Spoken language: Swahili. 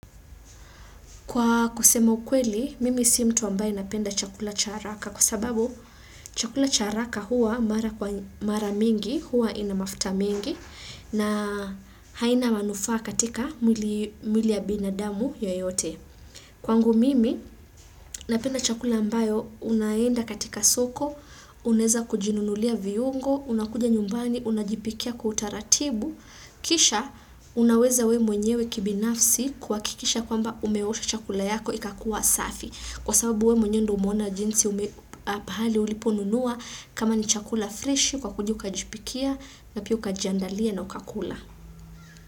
Kwa kusema ukweli, mimi si mtu ambayo napenda chakula cha haraka kwa sababu chakula cha haraka huwa mara mingi, huwa ina mafuta mengi na haina manufaa katika mwili ya binadamu yoyote. Kwangu mimi, napenda chakula ambayo, unaenda katika soko, unaeza kujinunulia viungo, unakuja nyumbani, unajipikia kwa utaratibu, kisha unaweza we mwenyewe kibinafsi kwakikisha kwamba umeosha chakula yako ikakua safi. Kwa sababu we mwenye ndo umeona jinsi ume pahali uliponunua kama ni chakula freshi ukakuja ukajipikia na pia ukajiandalia na ukakula.